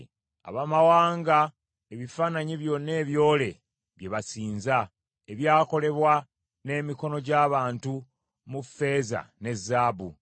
Abamawanga ebifaananyi byonna ebyole bye basinza, ebyakolebwa n’emikono gy’abantu mu ffeeza ne zaabu,